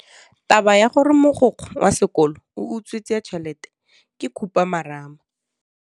Taba ya gore mogokgo wa sekolo o utswitse tšhelete ke khupamarama.